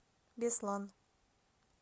беслан